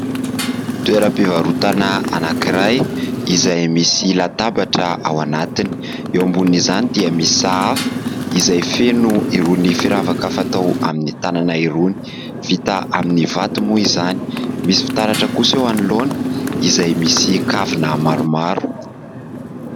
Toeram-pivarotana anankiray izay misy latabatra ao anatiny. Eo ambonin'izany dia misy sahafa izay feno irony firavaka fatao amin'ny tanana irony, vita amin'ny vato moa izany, misy fitaratra kosa eo anoloana izay misy kavina maromaro.